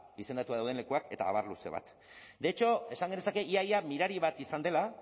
izendatuta dauden lekuak eta abar luze bat de hecho esan genezake ia ia mirari bat izan dela